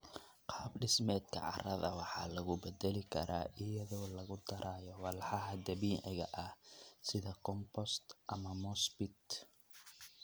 Qaab dhismeedka carrada waxaa lagu bedeli karaa iyadoo lagu darayo walxaha dabiiciga ah sida compost ama moss peat.